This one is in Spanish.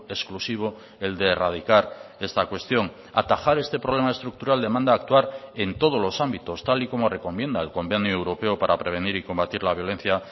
exclusivo el de erradicar esta cuestión atajar este problema estructural demanda actuar en todos los ámbitos tal y como recomienda el convenio europeo para prevenir y combatir la violencia